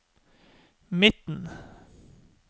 midten